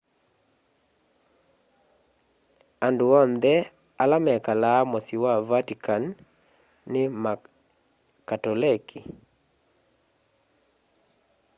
andũ onthe ala mekalaa mũsyĩ wa vatikani nĩ ma katolekĩ